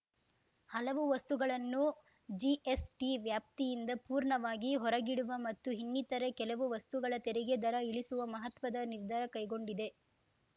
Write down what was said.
ಹಲವು ವಸ್ತುಗಳನ್ನು ಜಿಎಸ್‌ಟಿ ವ್ಯಾಪ್ತಿಯಿಂದ ಪೂರ್ಣವಾಗಿ ಹೊರಗಿಡುವ ಮತ್ತು ಇನ್ನಿತರೆ ಕೆಲವು ವಸ್ತುಗಳ ತೆರಿಗೆ ದರ ಇಳಿಸುವ ಮಹತ್ವದ ನಿರ್ಧಾರ ಕೈಗೊಂಡಿದೆ